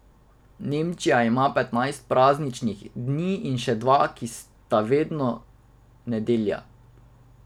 Nemčija ima petnajst prazničnih dni in še dva, ki sta vedno nedelja.